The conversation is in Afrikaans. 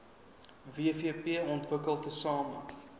wvp ontwikkel tesame